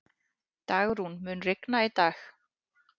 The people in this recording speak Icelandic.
Dagrún, mun rigna í dag?